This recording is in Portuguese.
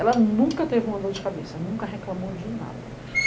Ela nunca teve uma dor de cabeça, nunca reclamou de nada.